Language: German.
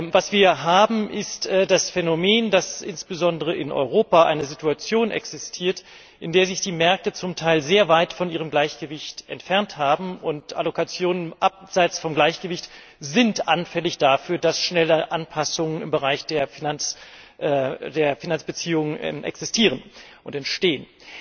Was wir haben, ist das Phänomen, dass insbesondere in Europa eine Situation existiert, in der sich die Märkte zum Teil sehr weit von ihrem Gleichgewicht entfernt haben, und Allokationen abseits vom Gleichgewicht sind anfällig dafür, dass schnelle Anpassungen im Bereich der Finanzbeziehungen existieren und entstehen.